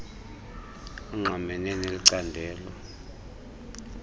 angqamene neli candelo